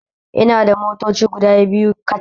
Ina da motoci guda biyu kacal